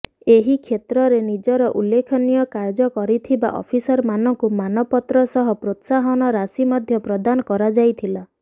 ଏହି କ୍ଷେତ୍ରରେ ନିଜର ଉଲ୍ଲେଖନୀୟ କାର୍ଯ୍ୟ କରିଥିବା ଅଫିସରମାନଙ୍କୁ ମାନପତ୍ର ସହ ପ୍ରୋତ୍ସାହନ ରାଶୀ ମଧ୍ୟ ପ୍ରଦାନ କରାଯାଇଥିଲା